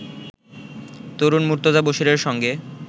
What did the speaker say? তরুণ মুর্তজা বশীরের সঙ্গে